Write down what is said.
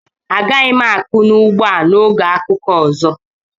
Agaghị m akụ n'ugbo a na oge akuku ọzọ.